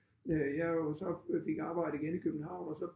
Jeg jo så fik arbejde igen i København og så